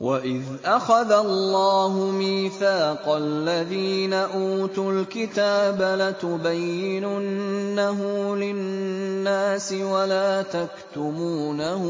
وَإِذْ أَخَذَ اللَّهُ مِيثَاقَ الَّذِينَ أُوتُوا الْكِتَابَ لَتُبَيِّنُنَّهُ لِلنَّاسِ وَلَا تَكْتُمُونَهُ